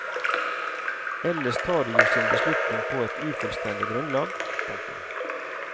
Ellers tar de jo sin beslutning på et ufullstendig grunnlag. punktum